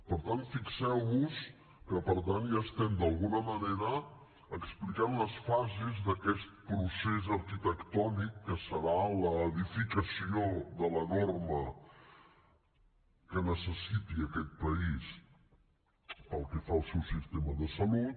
per tant fixeu vos que per tant ja estem d’alguna manera explicant les fases d’aquest procés arquitectònic que serà l’edificació de la norma que necessiti aquest país pel que fa al seu sistema de salut